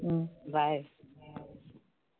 bye